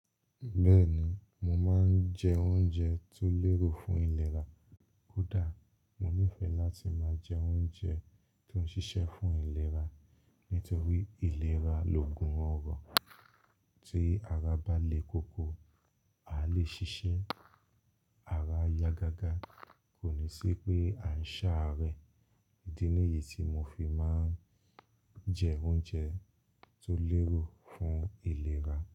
Bẹ́ẹ̀ni, mo máa ń jẹ oúnjẹ tí ó lérò fún ìlera. Kò dà, mo nífẹ̀ẹ́ láti máa jẹ oúnjẹ tó ń ṣiṣẹ́ fún ìlera, nítorí ìlera loògùn ọrọ. Tí ara bá le koko, a lè ṣiṣẹ́. Ara à ya gágá kò ní ṣi pé à ń ṣá arẹ. Idi ni yí tí mo fi máa ń jẹ oúnjẹ tó lérò fún ìlera.